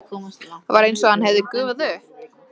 Var einsog hann hefði gufað upp.